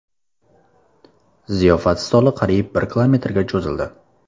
Ziyofat stoli qariyb bir kilometrga cho‘zildi.